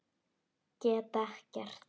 Get ekkert.